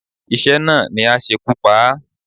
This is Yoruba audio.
Iṣẹ́ náà ni á ṣekú pa á.